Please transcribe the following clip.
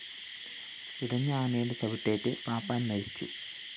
ഇടഞ്ഞ ആനയുടെ ചവിട്ടേറ്റ് പാപ്പാന്‍ മരിച്ചു